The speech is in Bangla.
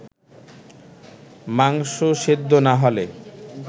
মাংস সেদ্ধ না হলে